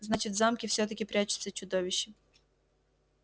значит в замке всё-таки прячется чудовище